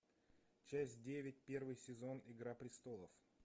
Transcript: часть девять первый сезон игра престолов